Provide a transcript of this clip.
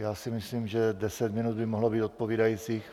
Já si myslím, že 10 minut by mohlo být odpovídající.